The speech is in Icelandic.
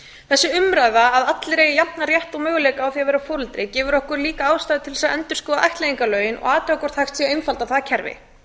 þessi umræða að allir eigi jafnan rétt og möguleika á að vera foreldri gefur okkur líka ástæðu til að endurskoða ættleiðingarlögin og athuga hvort hægt sé að einfalda það kerfi